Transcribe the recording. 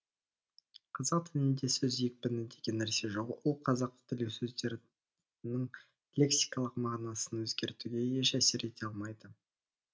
қазақ тілінде сөз екпіні деген нәрсе жоқ ол қазақ тілі сөздерінің лексикалық мағынасын өзгертуге еш әсер ете алмайды